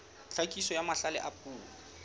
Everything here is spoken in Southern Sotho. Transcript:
tlhakiso ya mahlale a puo